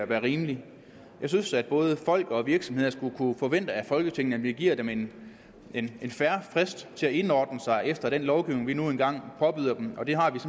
være rimeligt jeg synes at både folk og virksomheder skulle kunne forvente af folketinget at vi giver dem en fair frist til at indordne sig efter den lovgivning vi nu engang påbyder dem og det har vi